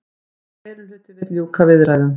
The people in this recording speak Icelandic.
Meirihluti vill ljúka viðræðum